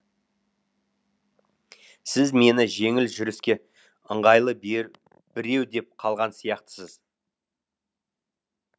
сіз мені жеңіл жүріске ыңғайлы біреу деп қалған сияқтысыз